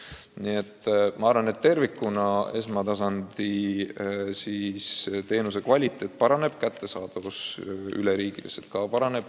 Üldiselt ma arvan, et tervikuna esmatasandi teenuse kvaliteet paraneb, kättesaadavus üleriigiliselt ka paraneb.